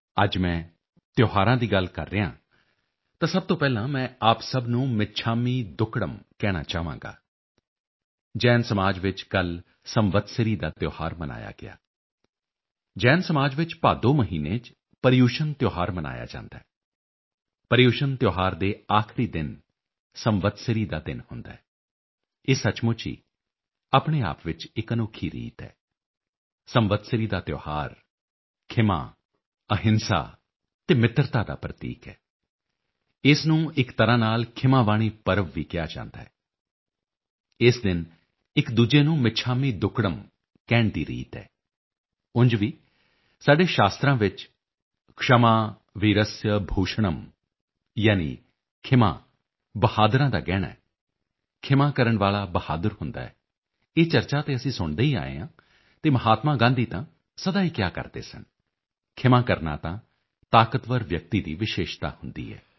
ਅੱਜ ਮੈਂ ਤਿਓਹਾਰਾਂ ਦੀ ਗੱਲ ਕਰ ਰਿਹਾ ਹਾਂ ਤਾਂ ਸਭ ਤੋਂ ਪਹਿਲਾਂ ਮੈਂ ਆਪ ਸਭ ਨੂੰ ਮਿੱਛਾਮੀ ਦੁੱਕੜਮ ਕਹਿਣਾ ਚਾਹਾਂਗਾ ਜੈਨ ਸਮਾਜ ਵਿੱਚ ਕੱਲ ਸੰਵਤਸਰੀ ਦਾ ਤਿਓਹਾਰ ਮਨਾਇਆ ਗਿਆ ਜੈਨ ਸਮਾਜ ਵਿੱਚ ਭਾਦੋਂ ਮਹੀਨੇ ਚ ਪਰਿਯੂਸ਼ਨ ਤਿਓਹਾਰ ਮਨਾਇਆ ਜਾਂਦਾ ਹੈ ਪਰਿਯੂਸ਼ਨ ਤਿਓਹਾਰ ਦੇ ਆਖਰੀ ਦਿਨ ਸੰਵਤਸਰੀ ਦਾ ਦਿਨ ਹੁੰਦਾ ਹੈ ਇਹ ਸਚਮੁੱਚ ਹੀ ਆਪਣੇ ਆਪ ਵਿੱਚ ਇੱਕ ਅਨੋਖੀ ਰੀਤ ਹੈ ਸੰਵਤਸਰੀ ਦਾ ਤਿਓਹਾਰ ਖ਼ਿਮਾ ਅਹਿੰਸਾ ਅਤੇ ਮਿੱਤਰਤਾ ਦਾ ਪ੍ਰਤੀਕ ਹੈ ਇਸ ਨੂੰ ਇੱਕ ਤਰ੍ਹਾਂ ਨਾਲ ਖ਼ਿਮਾਵਾਣੀ ਪਰਵ ਵੀ ਕਿਹਾ ਜਾਂਦਾ ਹੈ ਇਸ ਦਿਨ ਇੱਕ ਦੂਜੇ ਨੂੰ ਮਿੱਛਾਮੀ ਦੁੱਕੜਮ ਕਹਿਣ ਦੀ ਰੀਤ ਹੈ ਉਜ ਵੀ ਸਾਡੇ ਸ਼ਾਸਤਰ੍ਹਾਂ ਵਿੱਚ क्षमा वीरस्य भूषणम् ਯਾਨੀ ਖ਼ਿਮਾ ਬਹਾਦਰਾਂ ਦਾ ਗਹਿਣਾ ਹੈ ਖ਼ਿਮਾ ਕਰਨ ਵਾਲਾ ਬਹਾਦਰ ਹੁੰਦਾ ਹੈ ਇਹ ਚਰਚਾ ਤਾਂ ਅਸੀਂ ਸੁਣਦੇ ਹੀ ਆਏ ਹਾਂ ਅਤੇ ਮਹਾਤਮਾ ਗਾਂਧੀ ਤਾਂ ਸਦਾ ਹੀ ਕਿਹਾ ਕਰਦੇ ਸਨ ਖ਼ਿਮਾ ਕਰਨਾ ਤਾਂ ਤਾਕਤਵਰ ਵਿਅਕਤੀ ਦੀ ਵਿਸ਼ੇਸ਼ਤਾ ਹੁੰਦੀ ਹੈ